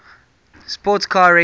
sports car racing